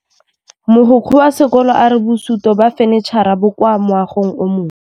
Mogokgo wa sekolo a re bosutô ba fanitšhara bo kwa moagong o mošwa.